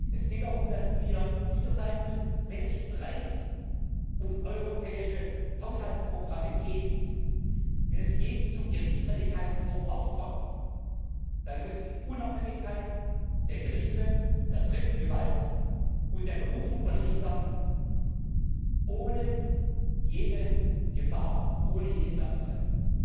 Es geht darum, dass wir sicher sein müssen Wenn es Streit um europäische Haushaltsprogramme gibt, wenn es je zu Gerichtsstreitigkeiten vor Ort kommt, dann muss die Unabhängigkeit der Gerichte der dritten Gewalt und der Berufung von Richtern ohne jede Gefahr, ohne jede Gefährdung sein.